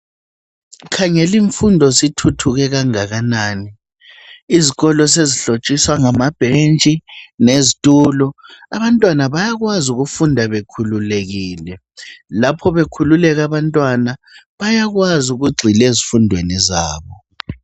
Khangela imfundo sithuthuke kangakanani izikolo sezihlotshiswa ngamabhentshi lezitulo abantwana bayakwazi ukufunda bekhululekile lapho bekhululeka abantwana bayakwazi ukugxila ezifundweni zabo.